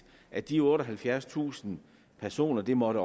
at de otteoghalvfjerdstusind personer det måtte